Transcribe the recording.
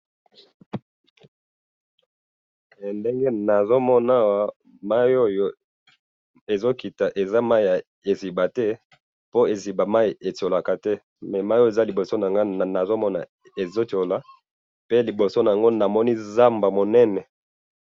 Liboso na nga na moni mai ezo chola pe na moni na zamba munene.